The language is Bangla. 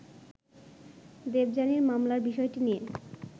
দেবযানীর মামলার বিষয়টি নিয়ে